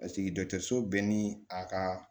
so bɛɛ ni a ka